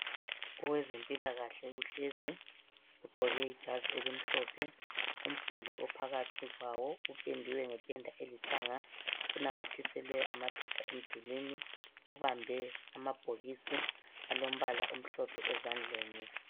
Owezempilakahle uhlezi ugqoke ijazi elimhlophe. Umduli ophakathi kwawo upendwe ngependa elithanga, kunanyathiselwe amaphepha emdulini Ubambe amabhokisi alombala omhlophe ezandleni.